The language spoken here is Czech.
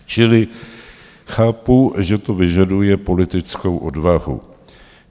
Čili chápu, že to vyžaduje politickou odvahu.